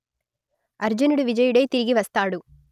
అర్జునుడు విజయుడై తిరిగి వస్తాడు